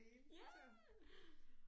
Ja